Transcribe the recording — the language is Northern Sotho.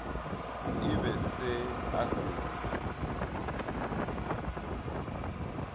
e be se a se